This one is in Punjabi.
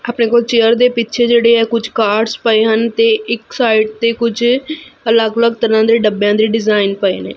ਅਪਨੇ ਕੋਲ ਚੇਅਰ ਦੇ ਪਿੱਛੇ ਜਿਹੜੇ ਕੁਛ ਕਾਰਡਸ ਪਏ ਹਨ ਤੇ ਇੱਕ ਸਾਈਡ ਤੇ ਕੁਛ ਅਲੱਗ ਅਲੱਗ ਤਰਹਾਂ ਦੇ ਡੱਬੇਆਂ ਦੇ ਡਿਜ਼ਾਈਨ ਪਏ ਨੇਂ।